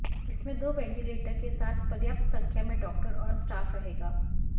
इसमें दो वेंटीलेटर के साथ पर्याप्त संख्या में डॉक्टर और स्टाफ रहेगा